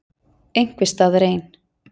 Einhvers staðar ein.